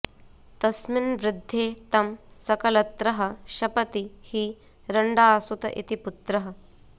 तस्मिन्वृद्धे तं सकलत्रः शपति हि रण्डासुत इति पुत्रः